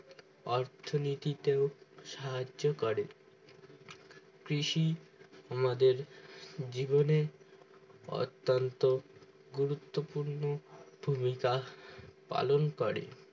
অর্থনীতিতে সাহায্য করে কৃষি আমাদের জীবনে অত্যান্ত গুরুত্ব পূর্ণ ভুমিকা পালন করে